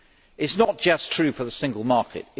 This is not just true for the Single Market